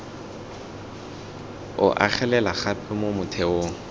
o agelela gape mo motheong